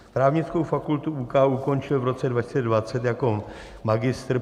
Právnickou fakultu UK ukončil v roce 2020 jako magistr.